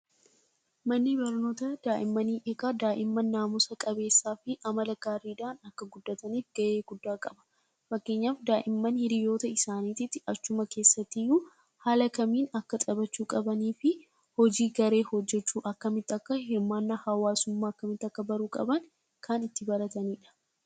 Manni barnoota daa'immanii egaa daa'imman naamusa qabeessaa fi amala gaariidhaan akka guddataniif ga'ee guddaa qaba. Fakkeenyaaf daa'imman hiriyyoota isaaniitiif achuma keessattiyyuu haala kamiin akka taphachuu qabanii fi hojii garee hojjechuu akkamitti akka hirmaannaa hawaasummaa akkamitti akka baruu qaban kan itti baratanidha.